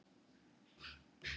Óska henni engrar hamingju lengur.